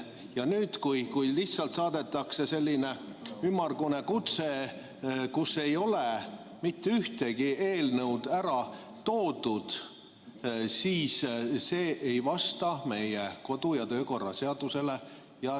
Aga nüüd, kui lihtsalt saadetakse selline ümmargune kutse, kus ei ole mitte ühtegi eelnõu ära toodud, see ei vasta meie kodu- ja töökorra seadusele.